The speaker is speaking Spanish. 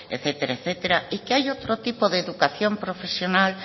etcétera etcétera y que hay otro tipo de educación profesional